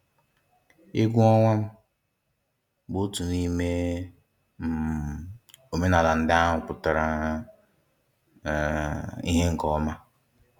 Egwu ọnwa um bụ otu n'ime um omenala ndị ahụ pụtara um ìhe nke ọma.